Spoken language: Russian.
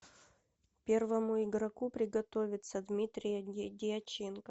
первому игроку приготовиться дмитрия дьяченко